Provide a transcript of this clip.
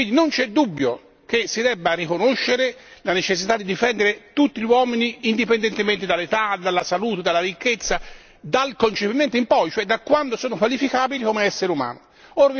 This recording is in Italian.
Quindi non c'è dubbio che si debba riconoscere la necessità di difendere tutti gli esseri umani indipendentemente dall'età, dalla salute, dalla ricchezza, dal concepimento in poi, cioè da quando sono qualificabili come esseri umani.